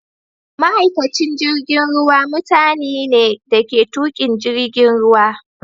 Ma'aikacin jirigin ruwa mutani ne dake tukin jirigin ruwa.